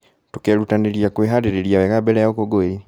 Tũkerutanĩria kwĩharĩrĩria wega mbere ya ũkũngũĩri.